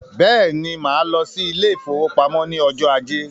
Bẹ́ẹ̀ni, máa lọ sí ile-ìfowópamó ní ọjọ ajé